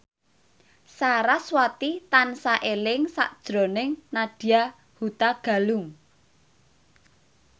sarasvati tansah eling sakjroning Nadya Hutagalung